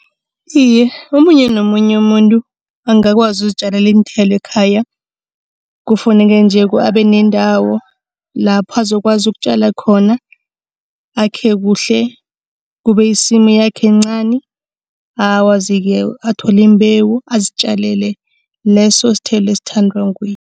Iye, omunye nomunye umuntu angakwazi ukuzitjalela iinthelo ekhaya. Kufuneka nje abe nendawo lapho azokwazi ukutjala khona. Akhe kuhle, kube yisimu yakhe encani. Akwazi-ke athole imbewu azitjalele leso sithelo esithandwa nguye.